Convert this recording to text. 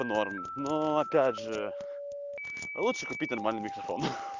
норм но опять же лучше купить нормальный микрофон